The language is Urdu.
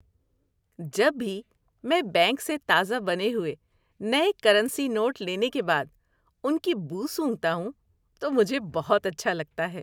جب بھی میں بینک سے تازہ بنے ہوئے نئے کرنسی نوٹ لینے کے بعد ان کی بو سونگھتا ہوں تو مجھے بہت اچھا لگتا ہے۔